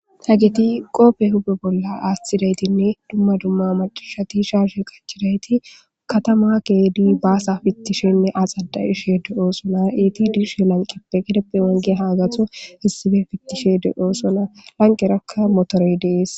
Hageti qooppe hube bolla aastidaytinne dumma dumma macashati shaarshe qachidayti katama keedi baasa fittishenne axada ishe de'oo sona eti dishe lanqeppe gideppe wange haagatho issibe fittishe de'oo sona lanqerakka motorey dees